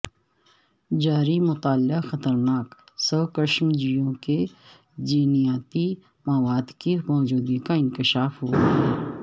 جاری مطالعہ خطرناک سوکشمجیووں کے جینیاتی مواد کی موجودگی کا انکشاف ہوا ہے